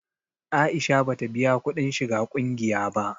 Aisha ba ta biya kuɗin shiga ƙungiya ba